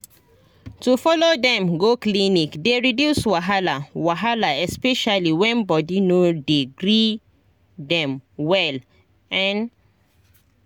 to follow dem go clinic dey reduce wahala wahala especially when body no dey gree dem well ehn